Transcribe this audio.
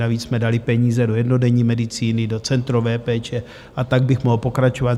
Navíc jsme dali peníze do jednodenní medicíny, do centrové péče, a tak bych mohl pokračovat.